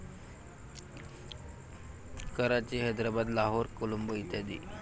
कराची, Hyderabad, Lahore, Colombo इ.